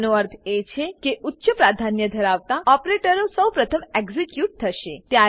આનો અર્થ એ છે કે ઉચ્ચ પ્રાધાન્ય ધરાવતા ઓપરેટરો સૌપ્રથમ એક્ઝીક્યુટ થશે